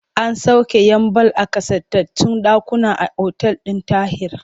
An sauƙe 'yan ball a ƙasaitattun ɗakuna a otal ɗin Tahir.